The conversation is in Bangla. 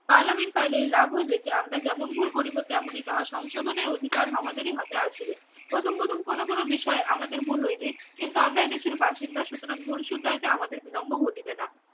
পার্লামেন্ট ফাইলে লাভ হইবে যা আমরা যেমন ভুল করিব তেমনই তাহা সংশোধনের অধিকার আমাদেরই হাতে আসিবে প্রথম প্রথম কোনো কোনো বিষয় আমাদের ভুল হইবে কিন্তু আমরা এদেশের বাসিন্দা সুতরাং ভুল শুধরাইতে আমাদের বিলম্ব ঘটিবে না